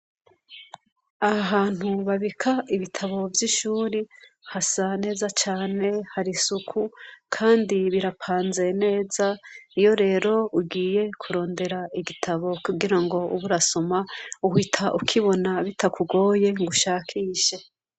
Ahantu babika ibitabo vy'ishuri hasa neza cane hari isuku kandi birapanze neza iyo rero ugiye kurondera igitabo kugira ngo uburasoma uhita ukibona bitakugoye ngo ushakishe